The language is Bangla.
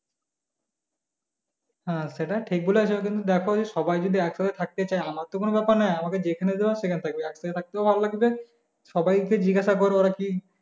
হ্যাঁ সেটা ঠিক বলেছো কিন্তু দেখো সবাই যদি একসাথে থাকতে চাই তাহলে আমার তো কোনো ব্যাপার নয় আমাকে যেখানে দেবে আমি সেখানে থাকবো একসাথে থাকতেও ভালো লাগবে সবাই কে জিজ্ঞাসা করো ওরা কি,